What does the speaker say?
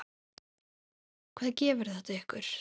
Hvað gefur þetta ykkur?